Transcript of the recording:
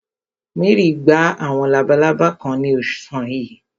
Mary gba àwọn labalábá kan ní ọ̀sán yìí.